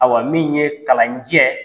Ayiwa min ye kalanjɛ